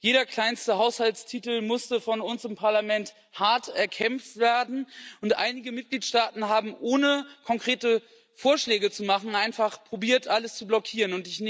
Jeder kleinste Haushaltstitel musste von uns im Parlament hart erkämpft werden, und einige Mitgliedstaaten haben, ohne konkrete Vorschläge zu machen, einfach probiert, alles zu blockieren.